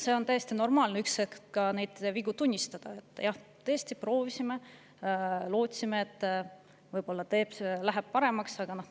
On täiesti normaalne neid vigu ühel hetkel tunnistada: jah, me tõesti proovisime, lootsime, et võib-olla läheb paremaks.